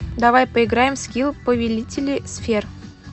давай поиграем в скилл повелители сфер